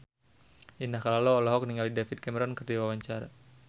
Indah Kalalo olohok ningali David Cameron keur diwawancara